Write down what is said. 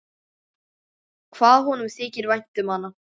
Hvað honum þykir vænt um hana!